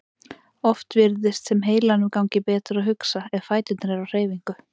Oft virðist sem heilanum gangi betur að hugsa ef fæturnir eru á hreyfingu.